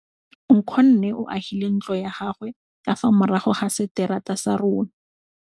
Nkgonne o agile ntlo ya gagwe ka fa morago ga seterata sa rona.